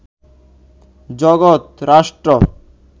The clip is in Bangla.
জগত, রাষ্ট্র